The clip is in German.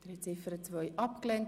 Sie haben Ziffer 2 abgelehnt.